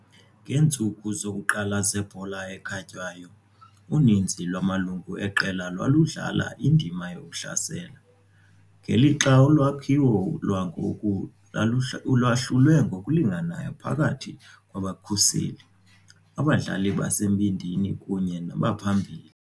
Ngeentsuku zokuqala zebhola ekhatywayo, uninzi lwamalungu eqela lwaludlala indima yokuhlasela, ngelixa ulwakhiwo lwangoku lwahlulwe ngokulinganayo phakathi kwabakhuseli, abadlali basembindini kunye nabaphambili.